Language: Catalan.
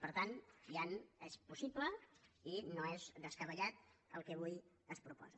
per tant és possible i no és descabellat el que avui es proposa